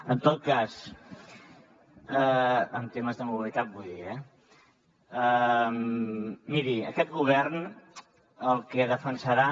en tot cas en temes de mobilitat vull dir eh miri aquest govern el que defensarà